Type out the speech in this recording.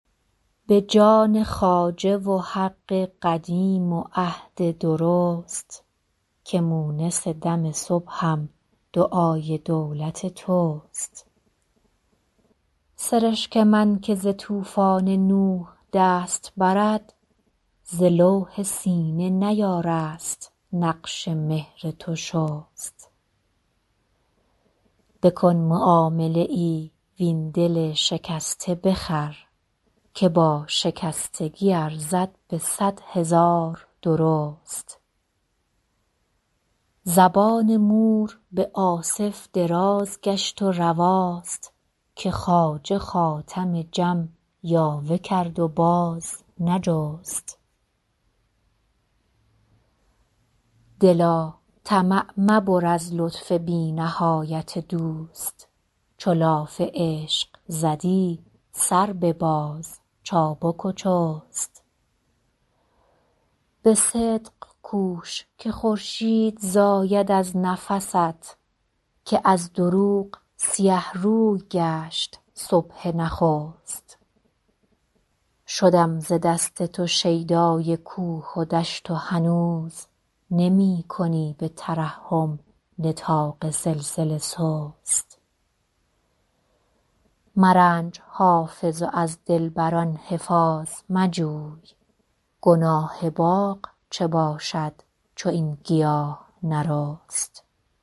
به جان خواجه و حق قدیم و عهد درست که مونس دم صبحم دعای دولت توست سرشک من که ز طوفان نوح دست برد ز لوح سینه نیارست نقش مهر تو شست بکن معامله ای وین دل شکسته بخر که با شکستگی ارزد به صد هزار درست زبان مور به آصف دراز گشت و رواست که خواجه خاتم جم یاوه کرد و باز نجست دلا طمع مبر از لطف بی نهایت دوست چو لاف عشق زدی سر بباز چابک و چست به صدق کوش که خورشید زاید از نفست که از دروغ سیه روی گشت صبح نخست شدم ز دست تو شیدای کوه و دشت و هنوز نمی کنی به ترحم نطاق سلسله سست مرنج حافظ و از دلبر ان حفاظ مجوی گناه باغ چه باشد چو این گیاه نرست